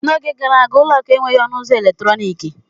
N'oge gara aga, ụlọ akụ enweghị ọnụ ụzọ eletrọnịkị.